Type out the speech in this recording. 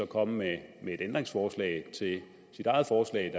komme med et ændringsforslag til sit eget forslag